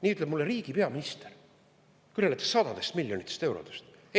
Nii ütleb mulle riigi peaminister, kõneledes sadadest miljonitest eurodest!